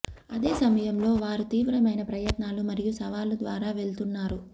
అదే సమయంలో వారు తీవ్రమైన ప్రయత్నాలు మరియు సవాళ్లు ద్వారా వెళ్తున్నారు